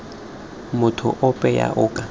motho ope yo o ka